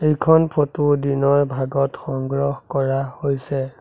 এইখন ফটো দিনৰ ভাগত সংগ্ৰহ কৰা হৈছে।